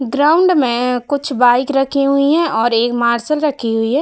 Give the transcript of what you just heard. Ground में कुछ bike रखी हुइ हैं और एक मार्सल रखी हुई है।